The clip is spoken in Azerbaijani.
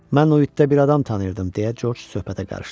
Mən o itdə bir adam tanıyırdım, deyə Corc söhbətə qarışdı.